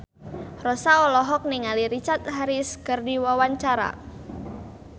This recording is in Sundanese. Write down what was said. Rossa olohok ningali Richard Harris keur diwawancara